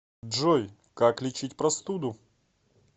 джой как лечить простуду